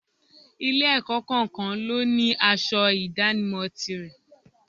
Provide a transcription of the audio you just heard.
Ilé-ẹ̀kọ́ kọ̀ọ̀kan ló ní aṣọ ìdámọ̀ tirẹ̀